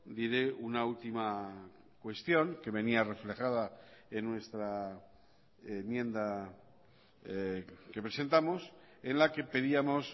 diré una última cuestión que venía reflejada en nuestra enmienda que presentamos en la que pedíamos